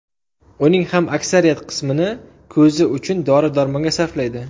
Uning ham aksariyat qismini ko‘zi uchun dori-darmonga sarflaydi.